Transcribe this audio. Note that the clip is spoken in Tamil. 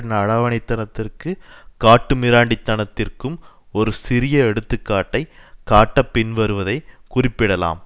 நடவானித்தனத்திற்கு காட்டுமிராண்டித்தனத்திற்கும் ஒரு சிறிய எடுத்துக்காட்டைக் காட்ட பின்வருவதை குறிப்பிடலாம்